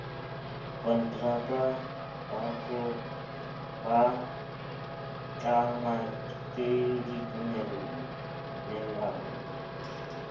konteraka ba tlangwa ke ditumellano